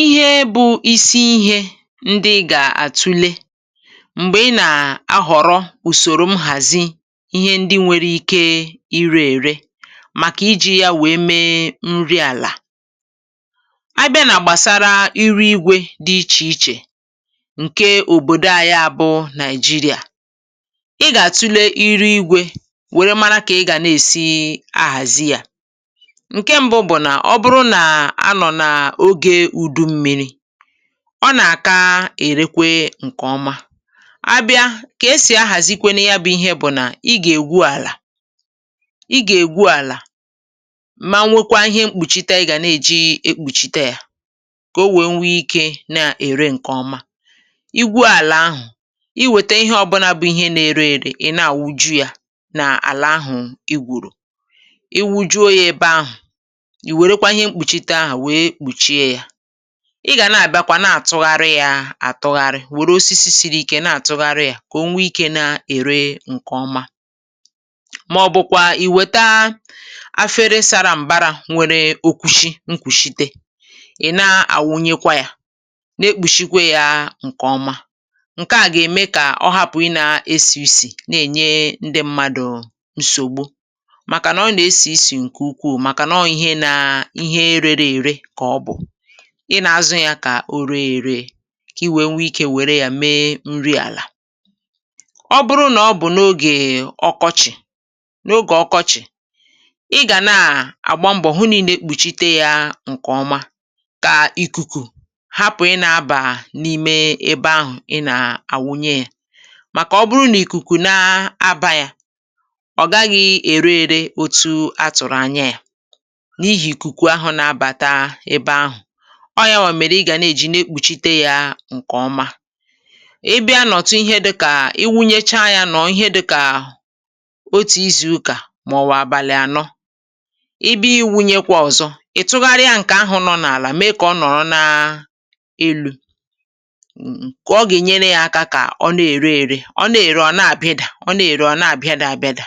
Ihe bụ̇ isi ihė ndị ị gà-àtụle m̀gbè ị nà-ahọ̀rọ̀ ùsòrò m hàzi ihe ndị nwere ike ịrė ère, màkà iji̇ ya wèe mee nri àlà. A bịa nà-gbàsara iru igwė dị iche iche ǹke òbòdò à, ya bụ̇ Naịjirịà, ị gà-àtụle iru igwė wère mara kà ị gà n’èsi ahàzi à. Ǹkè à bụ̀rù nà anọ̀ nà ogė udu mmi̇ri̇, ọ nà-àka èrekwe ǹkè ọma. A bịa kà e sì ahàzịkwenu, ya bụ̀ ihe bụ̀ nà, i gà-ègwu àlà, i gà-ègwu àlà, mà nwekwaa ihe mkpùchita yà gà na-èji ekpùchita yȧ, kà o wèe nwee ikė na-ère ǹkè ọma. Igwu àlà ahụ̀, i wète ihe ọbụna bụ̇ ihe na-ere èrè, ị̀ na-àwụju yȧ n’àlà ahụ̀ i gẁrù, i wujuo yȧ ebe ahụ̀. Ị gà na-àbịakwa, na-àtụgharị ya àtụgharị wòrò osisi siri ike, na-àtụgharị ya kà o nwee ikė na-ère ǹkè ọma. Màọbụkwa, ì wèta efere sara m̀bara nwere okwùshi nkwùshite, ì na-àwụnyekwa ya, na-ekpùshikwa ya. Ǹkè ọma ǹke à gà-ème kà ọ hapụ̀ ị nà-esì isì na-ènye ndị mmadụ̀ nsògbu, màkà nà ọ nà-esì isì ǹkè ukwuù. Ị nà-azụ ya kà o ree ère, kà i nwèe nwee ikė wère yȧ mee nri àlà.Ọ bụrụ nà ọ bụ̀ n’ogè ọkọchị̀, n’ogè ọkọchị̀ ị gà na-àgba mbọ̀ hụ nị̇ na-ekpùchite yȧ ǹkè ọma, kà ikuku hapụ̀ ị nȧ-abà n’ime ebe ahụ̀ ị nà-àwunye yȧ. Màkà ọ bụrụ nà ikuku na-aba yȧ, ọ̀ gaghị̇ ère ere otu atụ̀rụ̀ anya yȧ ọọ̀, ya bụ̀ ìmère, ị gà nà-èji nà-ekpùchite yȧ ǹkè ọma. Ị bịa nà ọ̀tụ ihe, dịkà ị wụnyecha yȧ, nọ̀ ihe dịkà otù izùu kà màọ̀bụ̀ àbàlị̀ ànọ, ị bịa iwunyekwa ọ̀zọ, ị̀ tụgharịa yȧ ǹkè ahụ̀ nọ̀ n’àlà, mèe kà ọ nọ̀rọ n’elu̇. Ǹkè ọ gà-ènyere yȧ aka kà ọ nà-ère ère. Ọ nà-èrè, ọ̀ na-àbịa dà; ọ nà-èrè, ọ̀ na-àbịa, dị àbịa dà.